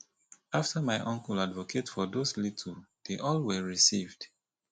after my uncle advocate for those little dey all were received